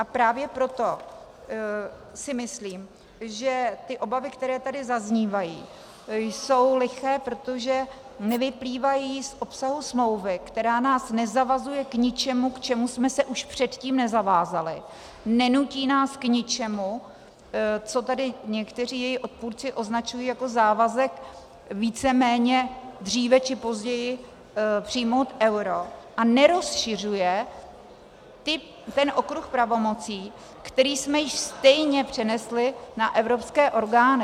A právě proto si myslím, že ty obavy, které tady zaznívají, jsou liché, protože nevyplývají z obsahu smlouvy, která nás nezavazuje k ničemu, k čemu jsme se už předtím nezavázali, nenutí nás k ničemu, co tady někteří její odpůrci označují jako závazek víceméně dříve či později přijmout euro, a nerozšiřuje ten okruh pravomocí, který jsme již stejně přenesli na evropské orgány...